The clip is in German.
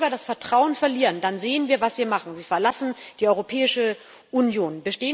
Wenn die Bürger das Vertrauen verlieren, dann sehen wir, was sie machen Sie verlassen die Europäische Union.